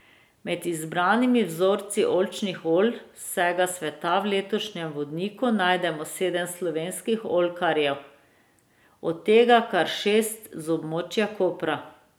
Med izbranimi vzorci oljčnih olj z vsega sveta v letošnjem vodniku najdemo sedem slovenskih oljkarjev, od tega kar šest z območja Kopra.